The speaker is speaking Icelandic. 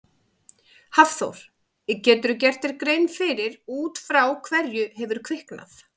Hafþór: Geturðu gert þér grein fyrir út frá hverju hefur kviknað?